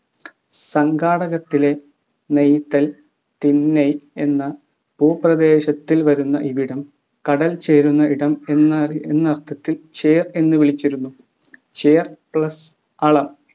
സംഘകാടകത്തിലെ നെയ്തൽ തിണൈ എന്ന ഭൂപ്രദേശത്തിൽ വരുന്ന ഇവിടം കടൽചേരുന്ന ഇടം എന്നയർത്ഥത്തിൽ ചേർ എന്നു വിളിച്ചിരുന്നു ചേർ plus അളം